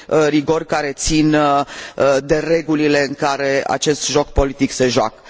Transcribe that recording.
rigori ce țin de regulile în care acest joc politic se joacă.